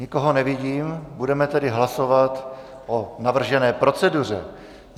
Nikoho nevidím, budeme tedy hlasovat o navržené proceduře.